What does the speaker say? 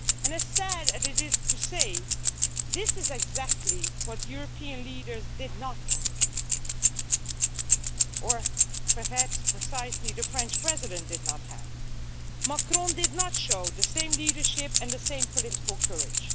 As sad as it is to say, this is exactly what European leaders did not have or perhaps, precisely, the French President did not have. Mr Macron did not show the same leadership and the same political courage.